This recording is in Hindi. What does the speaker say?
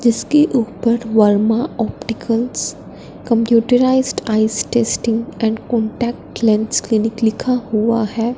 जिसके ऊपर Verma opticals computerised eyes testing and contact lens clinic लिखा हुआ है।